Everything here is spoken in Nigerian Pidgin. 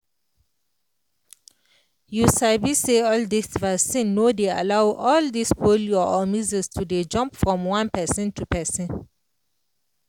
you sabi say all dis vaccine no dey allow all dis polio or measles to dey jump from one person to person